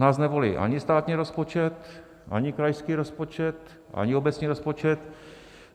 Nás nevolí ani státní rozpočet, ani krajský rozpočet, ani obecní rozpočet.